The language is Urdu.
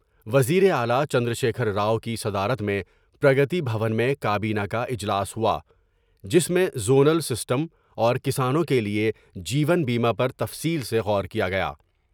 وزیر اعلی چندرشیکھر راؤ کی صدارت میں پرگتی بھون میں کابینہ کا اجلاس ہوا جس میں زونل سسٹم اور کسانوں کے لئے جیون بیمہ پر تفصیل سے غور کیا گیا ۔